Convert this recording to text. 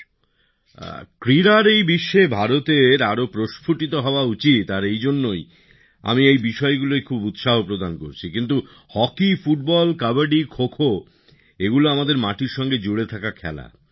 খেলাধুলার জগতে ভারতের আরো প্রস্ফুটিত হওয়া উচিত আর এই জন্যই আমি এই বিষয়গুলোয় খুব উৎসাহ প্রদান করছি কিন্তু হকি ফুটবল কাবাডি খো খো এগুলো আমাদের মাটির সঙ্গে জুড়ে থাকা খেলা